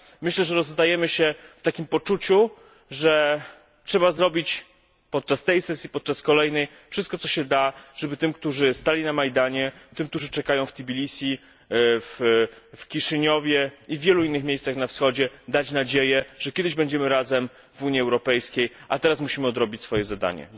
Myślę, że rozstajemy się wpoczuciu, że trzeba zrobić podczas tej sesji i podczas kolejnych wszystko, co w naszej mocy, żeby tym, którzy stali na Majdanie, którzy czekają wTbilisi, wKiszyniowie iwielu miejscach na Wschodzie, dać nadzieję, że kiedyś będziemy razem w Unii Europejskiej, a teraz musimy odrobić nasze zadanie.